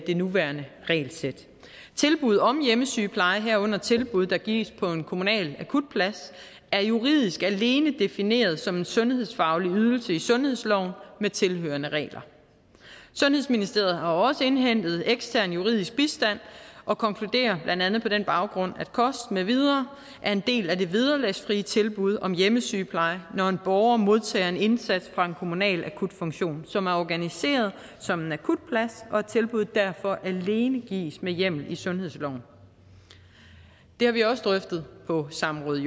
det nuværende regelsæt tilbud om hjemmesygepleje herunder tilbud der gives på en kommunal akutplads er juridisk alene defineret som en sundhedsfaglig ydelse i sundhedsloven med tilhørende regler sundhedsministeriet har også indhentet ekstern juridisk bistand og konkluderer blandt andet på den baggrund at kost med videre er en del af det vederlagsfrie tilbud om hjemmesygepleje når en borger modtager en indsats fra en kommunal akutfunktion som er organiseret som en akutplads og at tilbuddet derfor alene gives med hjemmel i sundhedsloven det har vi også drøftet på samråd